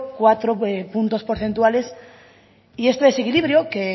cuatro puntos porcentuales y este desequilibrio que